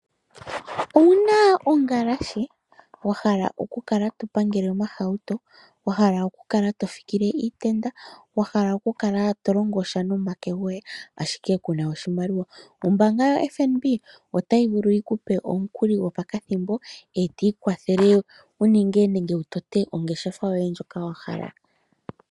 Owu na ongalashe wa hala okukala to pangele omahauto, wa hala okukala to fikile iitenda, wa hala okukala to longosha nomake goye, ashike ku na oshimaliwa? Ombaanga yoFNB otayi vulu yi ku pe omukuli gopakathimbo, e to ikwathele wu ninge nenge wu tote ongeshefa yoye ndjoka wa hala.